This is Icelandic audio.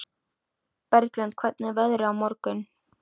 Bjarglind, hvernig verður veðrið á morgun?